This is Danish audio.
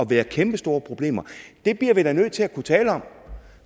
være kæmpestore problemer det bliver vi da nødt til at kunne tale om